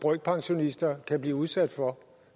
brøkpensionister kan blive udsat for